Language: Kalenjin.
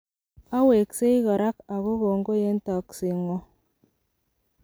Aweksei korak ago kongoi en toksengwog.